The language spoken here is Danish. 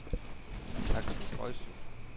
Aksel Boisen